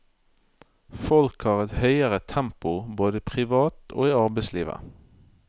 Folk har et høyere tempo både privat og i arbeidslivet.